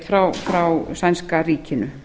neyðaraðstoðarsveit frá sænska ríkinu